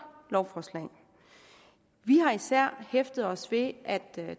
lovforslag vi har især hæftet os ved at at